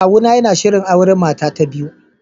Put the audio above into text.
Kawuna yana shirin auren mata ta biyu